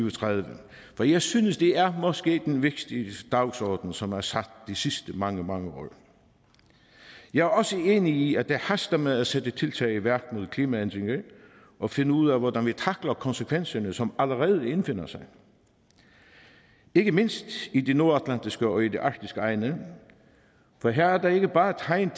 og tredive for jeg synes det er måske den vigtigste dagsorden som er sat de sidste mange mange år jeg er også enig i at det haster med at sætte tiltag i værk mod klimaændringer og finde ud af hvordan vi tackler konsekvenserne som allerede indfinder sig ikke mindst i de nordatlantiske og i de arktiske egne for her er der ikke bare tegn